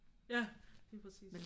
Ja lige præcis